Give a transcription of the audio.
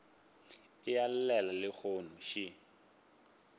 a e llela lehono še